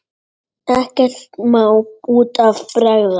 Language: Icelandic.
Ekkert má út af bregða.